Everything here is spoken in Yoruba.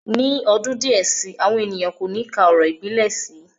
Ní ọdún díẹ̀ si, àwọn ènìyàn kò ní ka orò ìbílẹ̀ sí